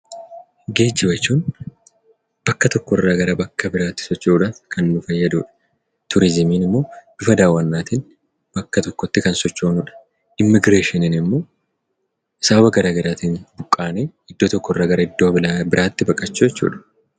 Geejjiba jechuun bakka tokkorraa gara bakka biraatti socho'uudhaaf kan nu fayyaduu dha. Turizimiin immoo bifa daawwannaatiin bakka tokkotti kan sochoonuu dha. Immigireeshiniin immoo sababa garaagaraatiin buqqaanee iddoo tokkorraa gara iddoo biraatti baqachuu jechuu dha.